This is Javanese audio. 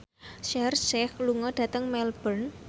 Shaheer Sheikh lunga dhateng Melbourne